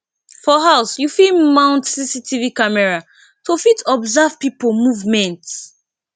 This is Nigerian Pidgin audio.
for house you fit mount cctv camera to fit observe pipo movement